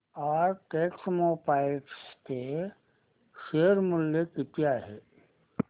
आज टेक्स्मोपाइप्स चे शेअर मूल्य किती आहे